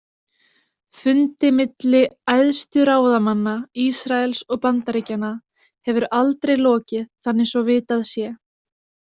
Fundi milli æðstu ráðamanna Ísraels og Bandaríkjanna hefur aldrei áður lokið þannig svo vitað sé.